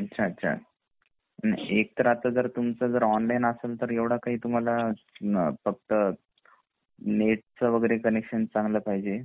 अच्छा अच्छा एक तर आता जर तुमचं ऑनलाइन असेल एवढं काही तुम्हाला फक्त नेट च वगैरे कनेक्शन चांगला पाहिजे ,